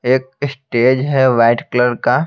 एक स्टेज है white colour का।